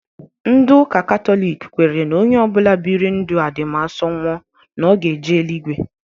Ndị ụka Katọliki kwere na onye obual biri ndụ adimaso nwụọ, na ọ ga-eje eluigwe